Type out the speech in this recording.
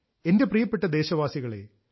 എന്റെ പ്രിയപ്പെട്ട ദേശവാസികളെ